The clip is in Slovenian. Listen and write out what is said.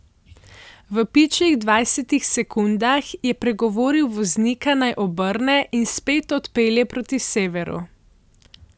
V pičlih dvajsetih sekundah je pregovoril voznika, naj obrne in spet odpelje proti severu.